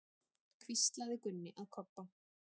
hvíslaði Gunni að Kobba.